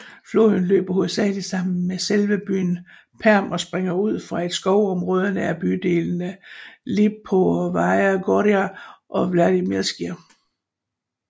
Floden løber hovedsageligt gennem selve byen Perm og springer ud fra et skovområde nær bydelene Lipovaja Gora og Vladimirskiij